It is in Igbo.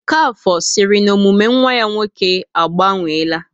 Okafor siri na omume nwa ya nwoke a gbanweela